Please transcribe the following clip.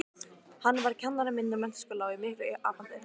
Eyjólfur Héðinsson Fallegasta knattspyrnukonan?